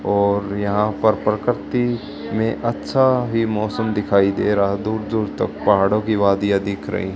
और यहां पर प्रकृति में अच्छा ही मौसम दिखाई दे रहा दूर दूर तक पहाड़ों की वादियां दिख रही--